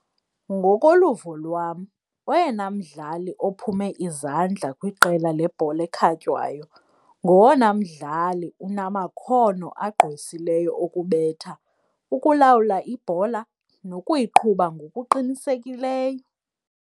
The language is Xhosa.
Ngokoluvo lwam oyena mdlali ophume izandla kwiqela lebhola ekhatywayo ngowona mdlali unamakhono agqwesileyo okubetha, ukulawula ibhola nokuyiqhuba ngokuqinisekileyo.